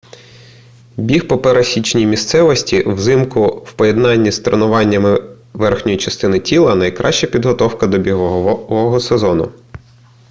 біг по пересіченій місцевості взимку в поєднанні з тренуванням верхньої частини тіла найкраща підготовка до бігового сезону